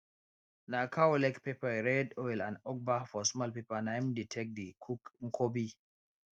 [] na cow leg pepper red oil and ugba for small pepper na im dey take dey cook nkwobi